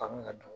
Kanu ka don